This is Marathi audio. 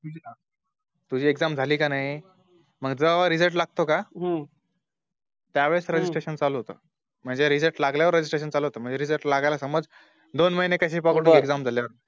तुझी Exam झाली का नाही मग तेव्हा Result लागतो का त्यावेळेस Registration चालू होत म्हणजे Result लागल्यावर registration चालू होत म्हणजे Result लागायला समझ दोन महिने कस भी घे पकडून Exam झाल्यावर